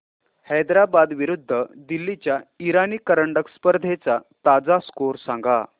हैदराबाद विरुद्ध दिल्ली च्या इराणी करंडक स्पर्धेचा ताजा स्कोअर सांगा